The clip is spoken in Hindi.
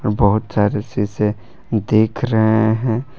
बहोत सारे शीशे दिख रहे हैं।